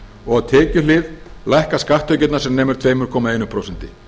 og á tekjuhlið lækka skatttekjurnar sem nemur tveimur komma eitt prósent